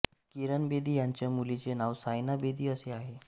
किरण बेदी यांच्या मुलीचे नाव सायना बेदी असे आहे